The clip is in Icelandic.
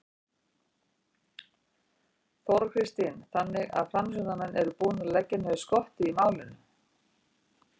Þóra Kristín: Þannig að framsóknarmenn eru búnir að leggja niður skottið í málinu?